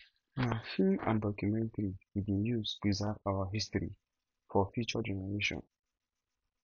na film and documentary we dey use preserve our history for future generation